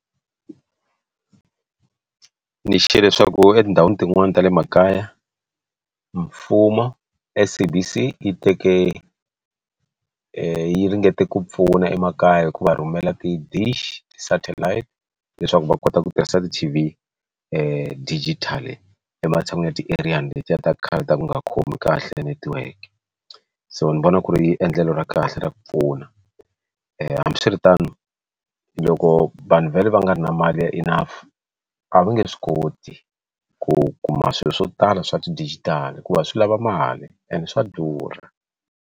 Ni xiye leswaku etindhawini tin'wana ta le makaya mfumo SABC yi teke yi ringete ku pfuna emakaya hi ku va rhumela ti dish ti satellite leswaku va kota ku tirhisa ti T_V digital ematshan'wini ya ti eriyani ta khale ta ku nga khomi kahle netiweke so ni vona ku ri endlelo ra kahle ra ku pfuna hambiswiritano loko vanhu vhele va nga ri na mali ya enough a va nge swi koti ku kuma swilo swo tala swa ti digital hikuva swi lava mali and swa durha.